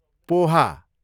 poha